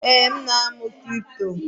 Ee, m na-amụ kripto